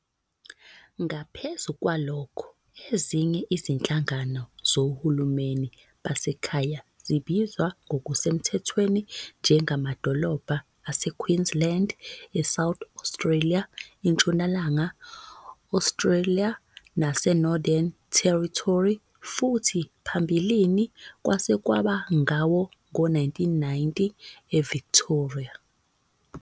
Ngaphezu kwalokho, ezinye izinhlangano zohulumeni basekhaya zibizwa ngokusemthethweni njengamadolobha aseQueensland, eSouth Australia, eNtshonalanga Australia naseNorthern Territory, futhi phambilini, kwaze kwaba ngawo-1990, eVictoria.